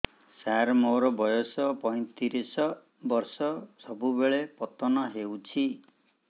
ସାର ମୋର ବୟସ ପୈତିରିଶ ବର୍ଷ ସବୁବେଳେ ପତନ ହେଉଛି